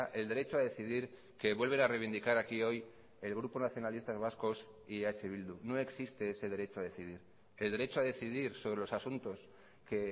el derecho a decidir que vuelven a reivindicar aquí hoy el grupo nacionalistas vascos y eh bildu no existe ese derecho a decidir el derecho a decidir sobre los asuntos que